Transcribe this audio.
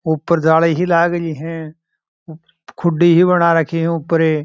ऊपर जाली सी लागरी है खुड़ी सी बना राखी है ऊपर --